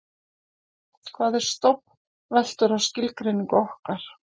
hvað er stofn veltur á skilgreiningu okkar